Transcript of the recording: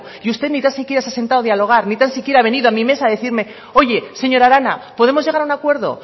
y usted ni tan siquiera se ha sentado a dialogar ni tan siquiera ha venido a mi mesa a decirme oye señora arana podemos llegar a un acuerdo